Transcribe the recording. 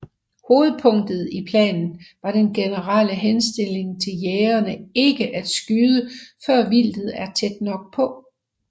Hovedpunktet i planen var den generelle henstilling til jægerne ikke at skyde før vildet er tæt nok på